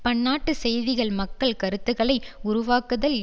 பன்னாட்டுச் செய்திகள் மக்கள் கருத்துக்களை உருவாக்குதல்